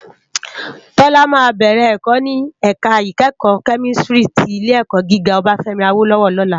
Tola má bèrè èkò ni èká ikèékò kèmìstrí ti Ilé èkò gigá Obafemi Awolowo lòlá